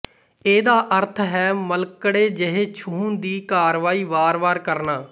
ਇਹਦਾ ਅਰਥ ਹੈ ਮਲਕੜੇ ਜਿਹੇ ਛੂਹਣ ਦੀ ਕਾਰਵਾਈ ਵਾਰ ਵਾਰ ਕਰਨਾ